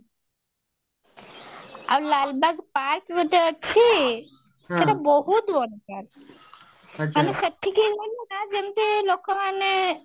ଆଉ ଲାଲବାଗ park ଗୋଟେ ଅଛି ସେଟା ବହୁତ ବଡ ଖାଲି ସେତିକି ଯେମତି ଲୋକମାନେ